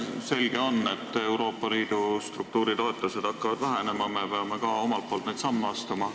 Selge on, et Euroopa Liidu struktuuritoetused hakkavad vähenema ja me peame ka omalt poolt samme astuma.